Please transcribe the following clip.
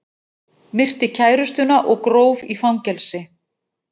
Myrti kærustuna og gróf í fangelsi